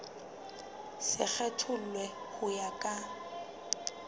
se kgethollwe ho ya ka